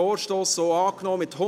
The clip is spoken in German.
Abstimmung (Geschäft